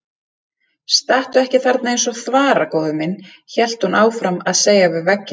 Stattu ekki þarna eins og þvara góði minn, hélt hún áfram að segja við vegginn.